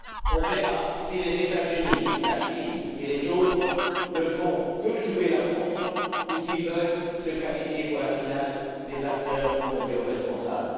On verra si les États Unis, la Chine et les autres ne font que jouer la montre ou s'ils veulent se qualifier pour la finale des acteurs mondiaux responsables.